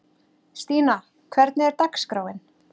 Stína, hvernig er dagskráin?